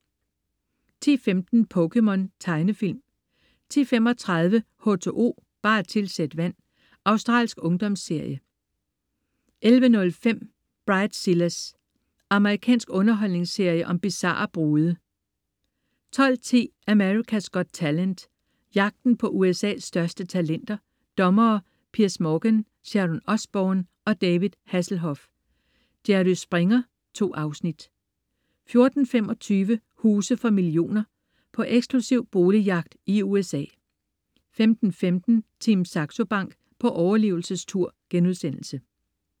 10.15 POKéMON. Tegnefilm 10.35 H2O, bare tilsæt vand. Australsk ungdomsserie 11.05 Bridezillas. Amerikansk underholdningsserie om bizarre brude 12.10 America's Got Talent. Jagten på USA's største talenter. Dommere: Piers Morgan, Sharon Osbourne og David Hasselhoff. Jerry Springer. 2 afsnit 14.25 Huse for millioner. På eksklusiv boligjagt i USA 15.15 Team Saxo Bank på overlevelsestur*